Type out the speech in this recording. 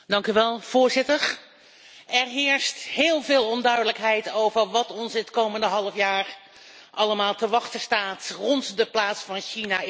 Er heerst heel veel onduidelijkheid over wat ons het komende halfjaar allemaal te wachten staat rond de plaats van China in de wereldhandel.